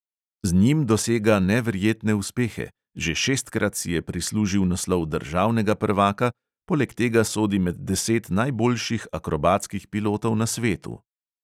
Z njim dosega neverjetne uspehe, že šestkrat si je prislužil naslov državnega prvaka, poleg tega sodi med deset najboljših akrobatskih pilotov na svetu.